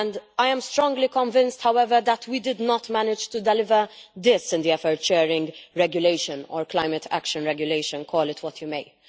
I am strongly convinced, however, that we did not manage to deliver this in the Effort Sharing Regulation or Climate Action Regulation, call it what you may.